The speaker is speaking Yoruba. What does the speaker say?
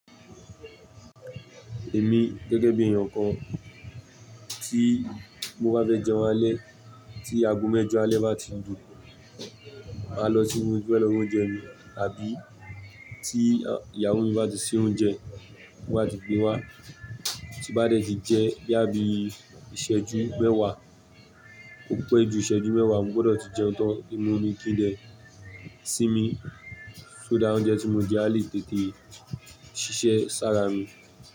Èmi gẹ́gẹ́ bí èeyàn kan tí mo bá fẹ́ jẹun alẹ́, tí ago mẹ́jọ alẹ́ bá ti lu, màá lọ sínú ibi tí mo ti fẹ́ lọ ra oúnjẹ mi, àbí tí ìyàwó mi bá ti ṣe oúnjẹ, tó bá ti gbé wá, tí bá dẹ̀ ti jẹ́ bo ya bíi ìṣẹ́jú mẹ́wàá, ó pé jù ìṣẹ́jú mẹ́wàá, mo gbọdọ̀ ti jẹun tán. Kí n mu mi, kí n dẹ̀ sínmi, so that oúnjẹ tí mo jẹ́ á lè tètè ṣiṣẹ́ sára mi.